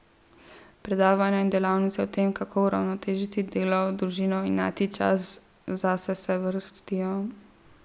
Predavanja in delavnice o tem, kako uravnotežiti delo, družino in najti čas zase se vrstijo ...